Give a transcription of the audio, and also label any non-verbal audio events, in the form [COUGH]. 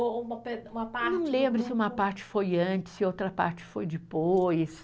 Ou uma pe, uma parte. [UNINTELLIGIBLE] Não lembro se uma parte foi antes e outra parte foi depois.